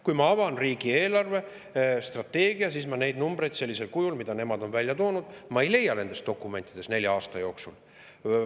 Kui ma avan riigi eelarvestrateegia, siis ma neid numbreid sellisel kujul, mida nemad on välja toonud, ei leia nendes dokumentides nende nelja aasta kohta.